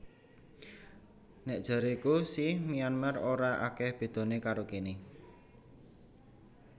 Nek jareku si Myanmar ora akeh bedone karo kene